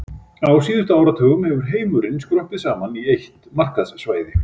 Á síðustu áratugum hefur heimurinn skroppið saman í eitt markaðssvæði.